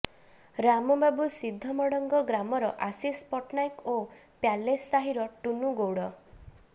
ରାମବାବୁ ସିଦ୍ଧମଡଙ୍ଗ ଗ୍ରାମର ଆଶିଷ ପଟ୍ଟନାୟକ ଓ ପ୍ୟାଲେସ ସାହିର ଟୁନୁ ଗୌଡ